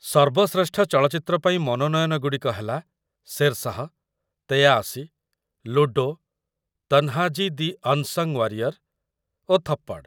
ସର୍ବଶ୍ରେଷ୍ଠ ଚଳଚ୍ଚିତ୍ର ପାଇଁ ମନୋନୟନ ଗୁଡ଼ିକ ହେଲା 'Shershaah', '୮୩', 'Ludo, Tanhaji the unsung warrior' ଓ 'ଥପ୍ପଡ଼'।